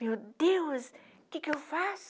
Meu Deus, o que que eu faço?